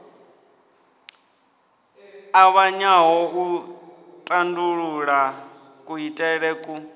ṱavhanyaho u tandulula kuitele ku